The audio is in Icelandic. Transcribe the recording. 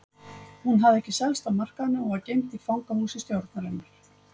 Hún hafði ekki selst á markaðnum og var geymd í fangahúsi stjórnarinnar.